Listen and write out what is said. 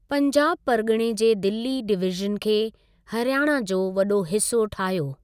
पंजाब परिॻिणे जे दिल्ली डिवीज़न खे, हरियाणा जो वॾो हिसो ठाहियो।